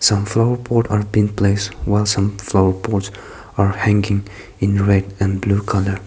some flower pot are been placed while some flower pots are hanging in red and blue colour.